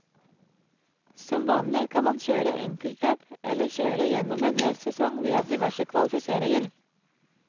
Som vanlig kan man kjøre enkeltløp eller kjøre gjennom en hel sesong via diverse kvalifiseringer.